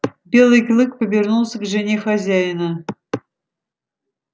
белый клык повернулся к жене хозяина